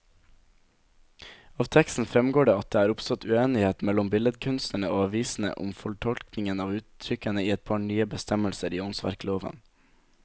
Av teksten fremgår det at det er oppstått uenighet mellom billedkunstnerne og avisene om fortolkningen av uttrykkene i et par nye bestemmelser i åndsverkloven.